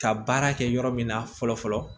Ka baara kɛ yɔrɔ min na fɔlɔ fɔlɔ